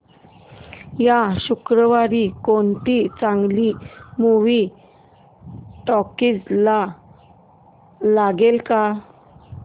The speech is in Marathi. या शुक्रवारी कोणती चांगली मूवी टॉकीझ ला लागेल का